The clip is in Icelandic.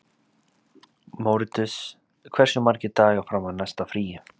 Mórits, hversu margir dagar fram að næsta fríi?